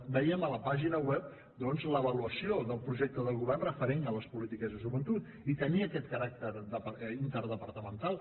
vèiem a la pàgina web doncs l’avaluació del projecte de govern referent a les polítiques de joventut i tenia aquest caràcter interdepartamental